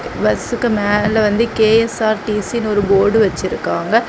பஸ்சுக்கு மேல வந்து கே_எஸ்_ஆர்_டீ_சினு ஒரு போர்டு வெச்சிருக்காங்க.